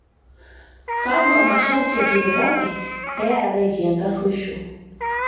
Kakua masharti etipikaki pee earareki enkaruosho